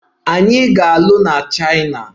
Anyị ga-alụ na Chaina.